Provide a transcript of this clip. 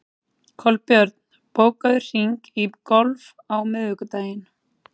Kolbjörn, bókaðu hring í golf á miðvikudaginn.